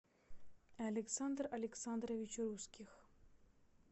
александр александрович русских